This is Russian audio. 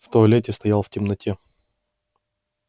в туалете стоял в темноте